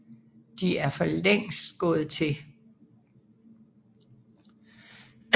De er for længst gået til